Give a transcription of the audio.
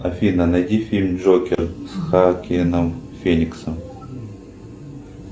афина найди фильм джокер с хоакином фениксом